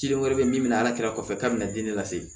Cilen wɛrɛ bɛ min ala kira kɔfɛ k'a bɛna den de lase